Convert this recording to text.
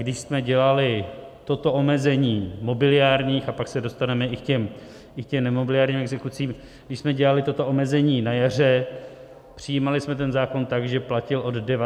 Když jsme dělali toto omezení mobiliárních, a pak se dostaneme i k těm nemobiliárním exekucím, když jsme dělali toto omezení na jaře, přijímali jsme ten zákon tak, že platil od 19. dubna.